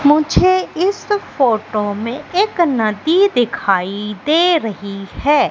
मुझे इस फोटो मे एक नदी दिखाई दे रही है।